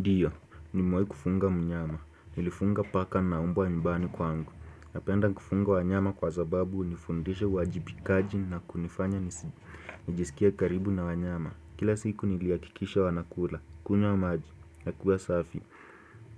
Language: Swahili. Ndiyo, ni mewahi kufunga mnyama, nilifunga paka na mbwa nyumbani kwangu. Napenda kufunga wanyama kwa sababu hunifundisha uwajibikaji na kunifanya nijisikie karibu na wanyama. Kila siku nilihakikisha wanakula, kunywa maji, na kuwa safi.